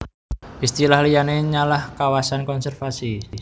Istilah liyane yalah kawasan konservasi